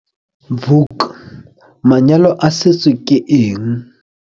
Vuk - Manyalo a setso ke eng?